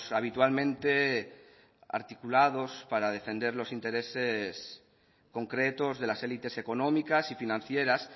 habitualmente articulados para defender los intereses concretos de las élites económicas y financieras